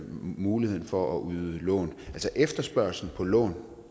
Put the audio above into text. muligheden for at yde lån altså efterspørgslen på lån